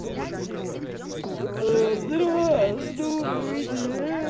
или здоровья сдует